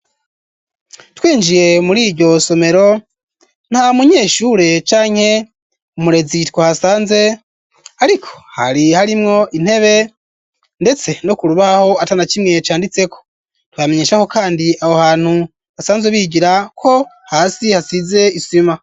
Twinjiye mur'iryo somero nta munyeshure canke umurezi twahasanze ,ariko hari harimwo intebe ndetse no kurubaho atana kimwe canditseko, twamenyesha ko kandi aho hantu basanzwe bigira ko hasi hasize isima.